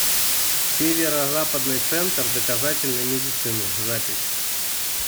северо западный центр доказательной медицины запись